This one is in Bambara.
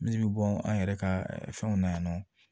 Min bɛ bɔ an yɛrɛ ka fɛnw na yan nɔ